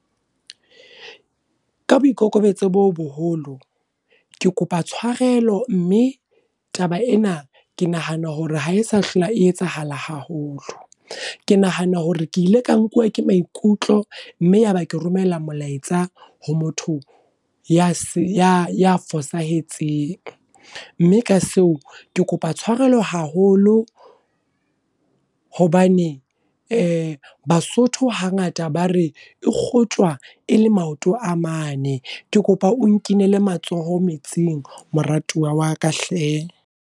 Ka boikokobetso bo boholo, ke kopa tshwarelo. Mme, taba ena ke nahana hore ha e sa hlola e etsahala haholo. Ke nahana hore ke ile ka nkuwa ke maikutlo mme yaba ke romella molaetsa ho motho ya ya fosahetseng. Mme ka seo ke kopa tshwarelo haholo, hobane Basotho hangata ba re e kgotjwa e le maoto a mane. Ke kopa o nkinele matsoho metsing moratuwa wa ka hle.